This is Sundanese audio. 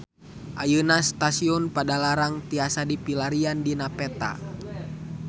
Ayeuna Stasiun Padalarang tiasa dipilarian dina peta